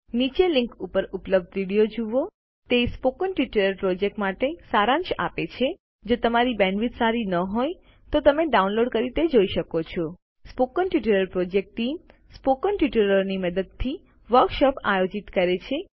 નીચેની લીંક ઉપર ઉપલબ્ધ વિડીયો જુઓ httpspoken tutorialorgWhat is a Spoken Tutorial તે સ્પોકન ટ્યુટોરીયલ પ્રોજેક્ટ માટે સારાંશ આપે છે જો તમારી પાસે બેન્ડવિડ્થ સારી ન હોય તો તમે તે ડાઉનલોડ કરીને જોઈ શકો છો spoken tutorial project team spoken ટ્યુટોરીયલોની મદદથી વર્કશોપો આયોજિત કરે છે